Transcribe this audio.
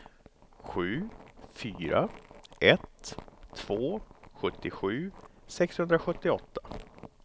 sju fyra ett två sjuttiosju sexhundrasjuttioåtta